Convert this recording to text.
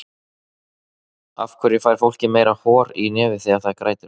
af hverju fær fólk meira hor í nefið þegar það grætur